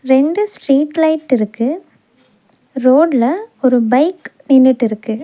ரெண்டு street light இருக்கு ரோட்ல ஒரு பைக் நின்னுட்டு இருக்கு.